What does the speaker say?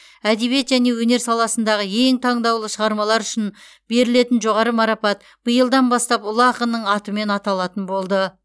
әдебиет пен өнер саласындағы ең таңдаулы шығармалар үшін берілетін жоғары марапат биылдан бастап ұлы ақынның атымен аталатын болды